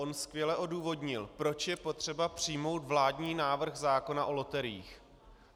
On skvěle odůvodnil, proč je potřeba přijmout vládní návrh zákona o loteriích.